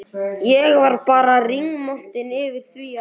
Ég var bara rígmontin yfir því að